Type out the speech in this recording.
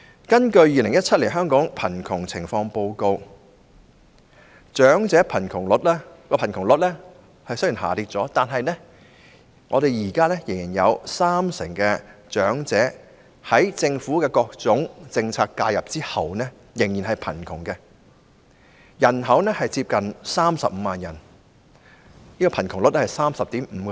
根據《2017年香港貧窮情況報告》，長者貧窮率雖然下跌，但現時有三成長者在政府各種政策介入後仍屬貧窮，人數接近35萬人，貧窮率是 30.5%。